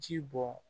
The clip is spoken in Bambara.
Ji bɔ